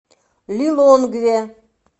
лилонгве